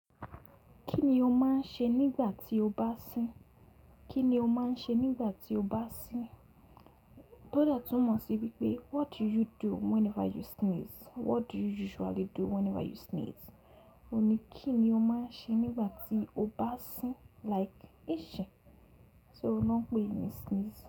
Kí ni o máa ń ṣe nígbà tí o bá sín? Kí ni o máa ń ṣe nígbà tí o bá sín? Tọ́ dàtúmọ̀ sí wí pé what do you do whenever you sneeze? What do you usually do whenever you sneeze? Òun ni kí ni o máa ń ṣe nígbà tí o bá sín like í sín. So o n ló ń pè é ni sneeze.